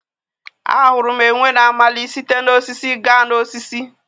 A hụrụ enwe na-amali site na osisi gaa n'osisi.